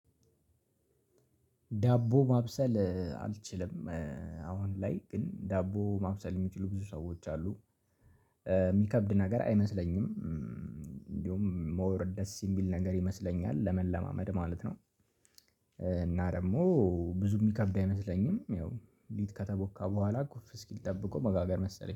ዳቦ ማብሰል አልችልም። አሁን ላይ ግን ዳቦ ማብሰል የሚችሉ ብዙ ሰዎች አሉ የሚከብድ ነገር አይመስለኝም እንዲሁም ሞር ደስ የሚል ነገር ይመስለኛል ለመለማመድ ማለት ነው። እና ደግሞ ብዙ የሚከብድ አይመስለኝም። ያው ሊጥ ከተቦካ በኋላ ኩፍ እስኪል ጠብቆ መጋገር መሰለኝ